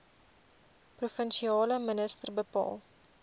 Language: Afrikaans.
provinsiale minister bepaal